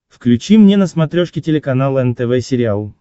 включи мне на смотрешке телеканал нтв сериал